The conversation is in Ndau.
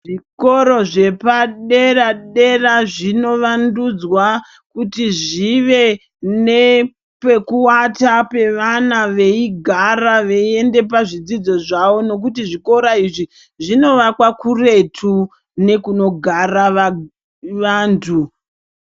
Zvikora zvepadera-dera zvinovandudzwa, kuti zvive nepekuvata pevana veigara veiende pazvidzidzo zvavo nokuti zvikora izvi zvinovakwa kuretu nekunogara vantu.